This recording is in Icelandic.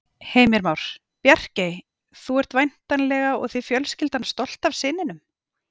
Heimir Már: Bjarkey, þú ert væntanlega og þið fjölskyldan stolt af syninum?